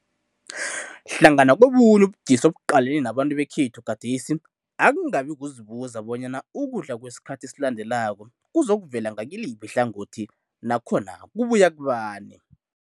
Hlangana kobunye ubudisi obuqalene nabantu bekhethu gadesi, akungabi kuzibuza bonyana ukudla kwesikhathi esilandelako kuzokuvela ngakiliphi ihlangothi nakhona kubuya kubani.